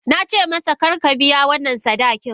Na ce masa, kar ka biya wannan sadakin!